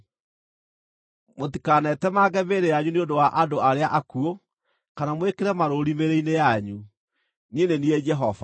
“ ‘Mũtikanetemange mĩĩrĩ yanyu nĩ ũndũ wa andũ arĩa akuũ, kana mwĩkĩre marũũri mĩĩrĩ-inĩ yanyu. Niĩ nĩ niĩ Jehova.